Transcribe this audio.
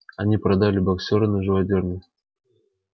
они продали боксёра на живодёрню